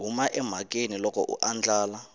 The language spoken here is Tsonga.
huma emhakeni loko a andlala